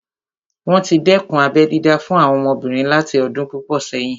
Wọ́n tí dẹ́kun abẹ́ dídá fún àwọn ọmọbìnrin láti ọdún púpọ̀ sẹ́yìn